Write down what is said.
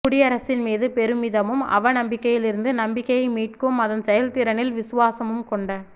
குடியரசின் மீது பெருமிதமும் அவநம்பிக்கையிலிருந்து நம்பிக்கையை மீட்கும் அதன் செயல்திறனில் விசுவாசமும் கொண்ட